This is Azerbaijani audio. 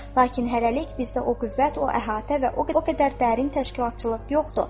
Lakin hələlik bizdə o qüvvət, o əhatə və o qədər dərin təşkilatçılıq yoxdur.